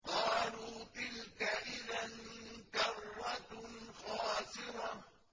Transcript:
قَالُوا تِلْكَ إِذًا كَرَّةٌ خَاسِرَةٌ